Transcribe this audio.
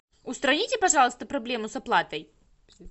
устраните пожалуйста проблему с оплатой